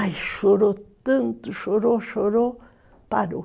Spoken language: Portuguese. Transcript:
Ai, chorou tanto, chorou, chorou, parou.